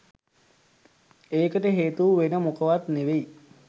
ඒකට හේතුව වෙන මොකවත් නෙවෙයි